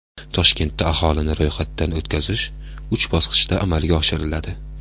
Toshkentda aholini ro‘yxatdan o‘tkazish uch bosqichda amalga oshiriladi.